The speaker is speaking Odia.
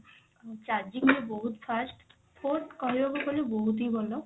charging ବି ବହୁତ first phone କହିବାକୁ ଗଲେ ବହୁତ ହି ଭଲ।